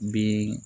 Den